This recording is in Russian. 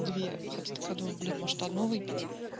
две хотя такая думаю блин может одну выпить